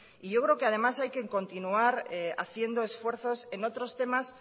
yo creo que además hay que continuar haciendo esfuerzos en otros temas